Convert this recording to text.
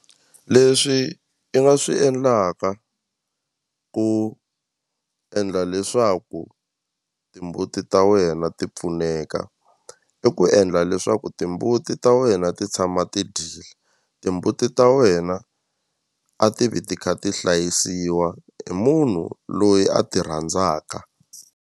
Leswi i nga swi endlaka ku endla leswaku timbuti ta wena ti pfuneka i ku endla leswaku timbuti ta wena ti tshama ti dyile timbuti ta wena a ti vi ti kha ti hlayisiwa hi munhu loyi a ti rhandzaka.